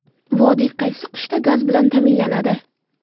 Vodiy qaysi qishda gaz bilan ta’minlanadi?